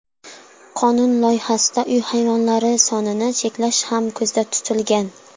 Qonun loyihasida uy hayvonlari sonini cheklash ham ko‘zda tutilgan.